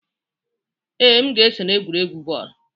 Ee, m ga-eso na egwuregwu bọọlụ.